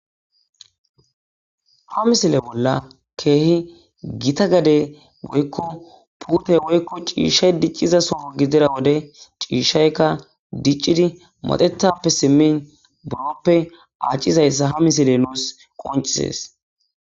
Ha misile bolla keehi gita gade woykko puute woykko ciishshay dicciza sofo gidira wode ciishshaykka diccidi modetappe simmin buroppe acizayssa ha misile nuus qoncisees